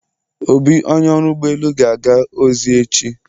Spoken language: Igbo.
Obi, Onye ọrụ ụgbọ elu ga-aga ozi echi.